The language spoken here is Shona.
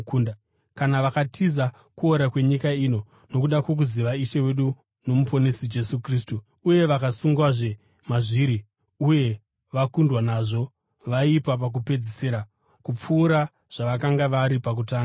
Kana vakatiza kuora kwenyika ino nokuda kwokuziva Ishe wedu noMuponesi Jesu Kristu uye vakasungwazve mazviri uye vakundwa nazvo, vaipa pakupedzisira kupfuura zvavakanga vari pakutanga.